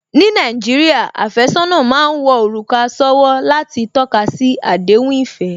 Ní Nàìjíríà, àfẹ́sọ́nà má ń wọ òrùka sówó láti tọ́kasi àdéhùn ìfẹ́